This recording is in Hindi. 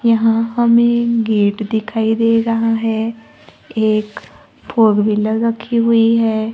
यहां हमें गेट दिखाई दे रहा है एक फोर व्हीलर रखी हुई है।